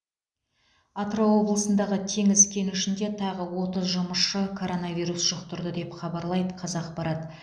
атырау облысындағы теңіз кенішінде тағы отыз жұмысшы коронавирус жұқтырды деп хабарлайды қазақпарат